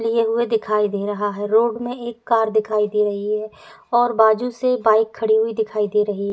लिए हुए दिखाई दे रहा है। रोड में एक कार दिखाई दे रही है और बाजुू से बाइक खड़ी हुई दिखाई दे रही है।